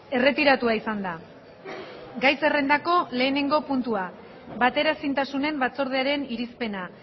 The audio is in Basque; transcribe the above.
erretiratua izan da gai zerrendako lehenengo puntua bateraezintasunen batzordearen irizpena